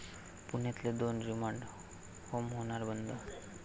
पुण्यातले दोन remand home होणार बंद!